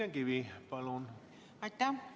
Aitäh!